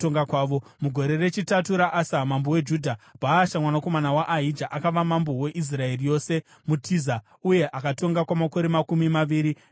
Mugore rechitatu raAsa mambo weJudha, Bhaasha, mwanakomana waAhija, akava mambo weIsraeri yose muTiza, uye akatonga kwamakore makumi maviri namana.